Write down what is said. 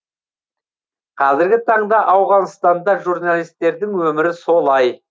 қазіргі таңда ауғанстанда журналистердің өмірі солай